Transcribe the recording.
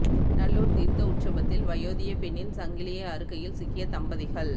நல்லுார் தீர்த்த உற்சபத்தில் வயோதிப பெண்ணின் சங்கலியை அறுக்கையில் சிக்கிய தம்பதிகள்